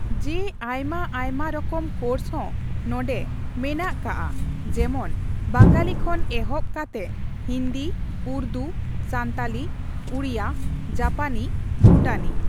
ᱡᱮ ᱟᱭᱢᱟ ᱟᱭᱢᱟ ᱨᱚᱠᱚᱢ ᱠᱳᱨᱥ ᱦᱚᱸ ᱱᱚᱰᱮ ᱢᱮᱱᱟᱜ ᱠᱟᱜᱼᱟ ᱾ ᱡᱮᱢᱚᱱ ᱵᱟᱝᱟᱞᱤ ᱠᱷᱚᱱ ᱮᱦᱚᱵ ᱠᱟᱛᱮᱜ ᱦᱤᱱᱫᱤ, ᱩᱨᱫᱩ, ᱥᱟᱱᱛᱟᱞᱤ, ᱩᱲᱭᱟ ᱡᱟᱯᱟᱱᱤ, ᱵᱷᱩᱴᱟᱱᱤ